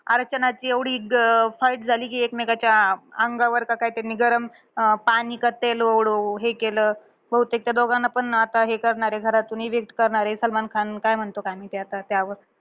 अर्चनाची एवढी अं fight झाली, कि एकमेकांच्या अं अंगावर का काय त्यांनी गरम अं पाणी का तेल उडवू हे केलं. बहुतेक त्या दोघांना पण आता हे करणार आहे. घरातून evict करणार आहे. सलमान खान काय म्हणतो काय माहिती आता त्यावर.